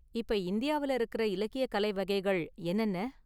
இப்ப இந்தியாவுல இருக்கற இலக்கிய கலை வகைகள் என்னென்ன?